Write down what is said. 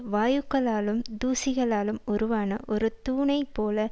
வாயுக்களாலும் தூசிகளாலும் உருவான ஒரு தூணைப் போல